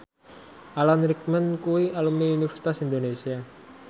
Alan Rickman kuwi alumni Universitas Indonesia